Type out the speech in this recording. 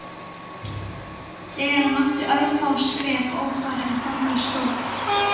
Þegar hann átti örfá skref ófarin þangað stóð